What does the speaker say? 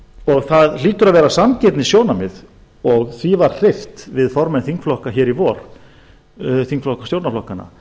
sig það hlýtur að vera sanngirnissjónarmið og því var hreyft við formenn þingflokka hér í vor þingflokka stjórnarflokkanna